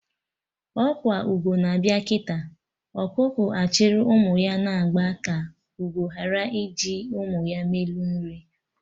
Ọkwa ugo na-abịa kịta, ọkụkọ achịrị ụmụ ya na agba ka ugo ghara iji ụmụ ya melu nri